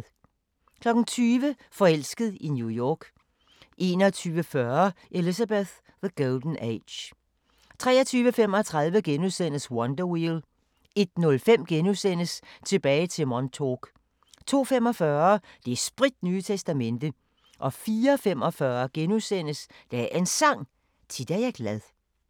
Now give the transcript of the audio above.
20:00: Forelsket i New York 21:40: Elizabeth: The Golden Age 23:35: Wonder Wheel * 01:05: Tilbage til Montauk * 02:45: Det spritnye testamente 04:45: Dagens Sang: Tit er jeg glad *